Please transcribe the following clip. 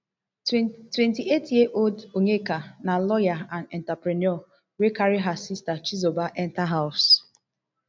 twenty-eighty years ear old onyeka na lawyer and entrepreneur wey carry her sister chizoba enta house